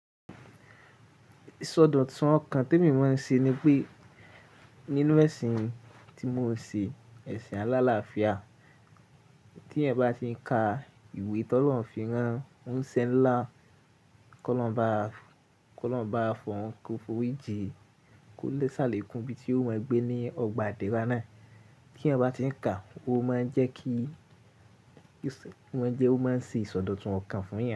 Ìsọdọ̀tun ọkàn tí mo máa ń ṣe ni pé nínú ẹ̀sìn tí mo ń ṣe, ẹ̀sìn Àlàáfíà, tí ẹ́ bá ti ń ka ìwé t'olohun fin rán, ó ń ṣẹ́ ńlá. Kọ́ lọ́hun ba, kọ́ lọ́hun ba fọhun, kò f'óri jìí, kó lè ṣàlékún ibi tí ó máa ń gbé ní ọgbà ìdérá nàa. Kí ẹeya bá ti ń ka, ó máa ń jẹ́ kí, ó má ń jẹ́ ó má ń ṣẹ ìsọdọ̀tun ọkàn fún yan.